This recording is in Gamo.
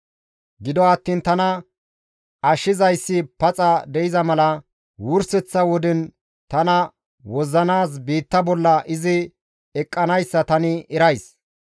Gido attiin tana ashshizayssi paxa de7iza mala wurseththa woden tana wozzanaas biitta bolla izi eqqanayssa tani erays.